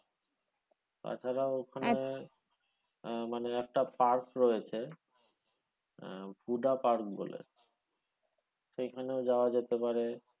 তাছাড়া ওখানে মানে একটা park রয়েছে আহ হুডা park বলে সেইখানেও যাওয়া যেতে পারে।